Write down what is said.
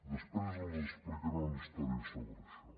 després els explicaré una història sobre això